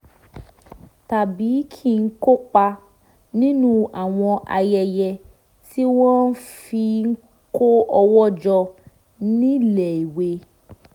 tàbí kí n kópa nínú àwọn ayẹyẹ tí wọ́n fi ń kó owó jọ níléèwé